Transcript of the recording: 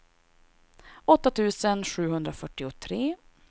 åtta tusen sjuhundrafyrtiotre